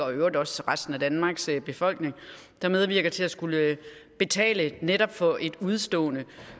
og i øvrigt også resten af danmarks befolkning som medvirker til at skulle betale netop for et udestående